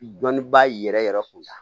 Dɔnnibaa yɛrɛ yɛrɛ yɛrɛ kunda